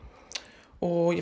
og ég